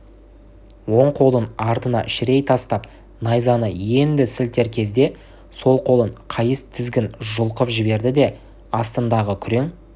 оң қолын артына шірей тастап найзаны енді сілтер кезде сол қолын қайыс тізгін жұлқып жіберді де астындағы күрең